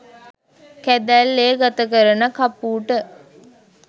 කැදැල්ලේ ගත කරන කපූට